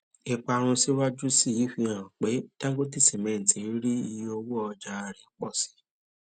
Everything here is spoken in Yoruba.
ìparun síwájú sí i fi hàn pé dangote cement rí iye owo ọja rẹ pọ si